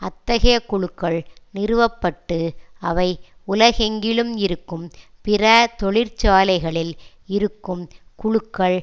அத்தகைய குழுக்கள் நிறுவப்பட்டு அவை உலகெங்கிலும் இருக்கும் பிற தொழிற்சாலைகளில் இருக்கும் குழுக்கள்